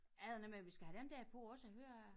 Er det noget med vi skal have dem der på også og høre